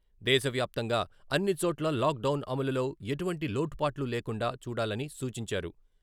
దేశవ్యాప్తంగా అన్ని చోట్లా లాక్డౌన్ అమలులో ఎటువంటి లోటుపాట్లు లేకుండా చూడాలని సూచించారు.